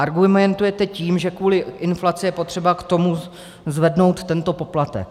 Argumentujete tím, že kvůli inflaci je potřeba k tomu zvednout tento poplatek.